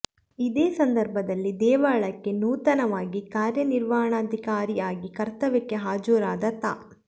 ಇದೇ ಸಂದರ್ಭದಲ್ಲಿ ದೇವಳಕ್ಕೆ ನೂತನವಾಗಿ ಕಾರ್ಯನಿರ್ವಹಣಾಧಿಕಾರಿ ಆಗಿ ಕರ್ತವ್ಯಕ್ಕೆ ಹಾಜರಾದ ತಾ